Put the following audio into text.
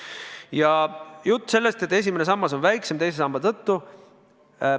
Jutt on olnud sellest, et esimene sammas on teise samba tõttu väiksem.